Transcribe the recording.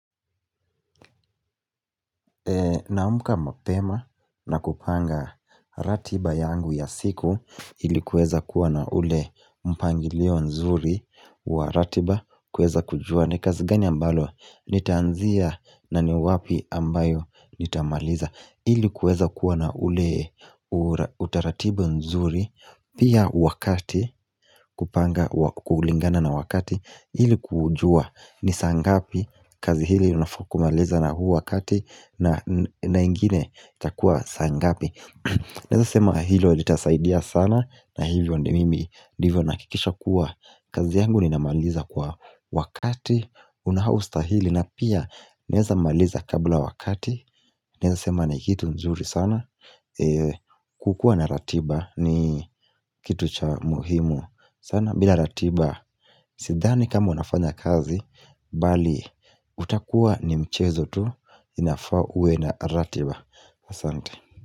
Naamuka mapema na kupanga ratiba yangu ya siku ili kuweza kuwa na ule mpangilio nzuri wa ratiba kuweza kujua ni kazi gani ambalo nitaanzia na ni wapi ambayo nitamaliza ili kuweza kuwa na ule utaratibu nzuri Pia wakati kupanga kuulingana na wakati Hili kujua ni saa ngapi kazi hili unafa kumaliza na huu wakati na ingine itakua saa ngapi Naeza sema hilo litasaidia sana na hivyo ndio mimi ndivyo nahakikisha kuwa kazi yangu ninamaliza kwa wakati unaostahili na pia naeza maliza kabla wakati Naeza sema ni kitu mzuri sana kukuwa na ratiba ni kitu cha muhimu sana bila ratiba Sidhani kama unafanya kazi Bali utakuwa ni mchezo tu Inafa uwe na ratiba asante.